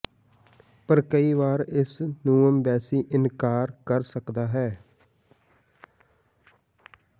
ਪਰ ਕਈ ਵਾਰ ਇਸ ਨੂੰ ਅੰਬੈਸੀ ਇਨਕਾਰ ਕਰ ਸਕਦਾ ਹੈ